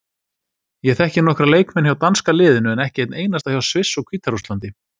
Ég þekki nokkra leikmenn hjá danska liðinu en ekki einn einasta hjá Sviss og Hvíta-Rússlandi.